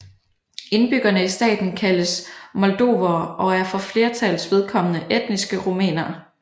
Indbyggerne i staten kaldes moldovere og er for flertallets vedkommende etniske rumænere